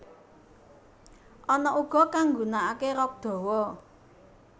Ana uga kang nggunakake rok dawa